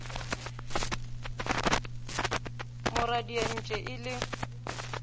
mo radia entše e le